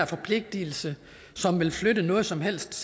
forpligtelse vil flytte noget som helst